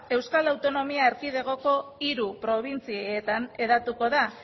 euskal y a euskal autonomia erkidegoko hiru probintzietan hedatuko da